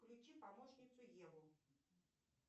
включи помощницу еву